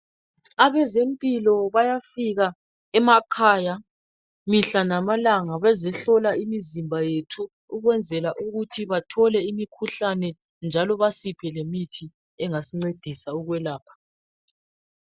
Abezempilo bayafika emakhaya mihla lamalanga, bezehlola imizimba yethu ukwenzela ukuthi bathole imikhuhlane njalo basiphe lemithi engasincedisa ukuselapha.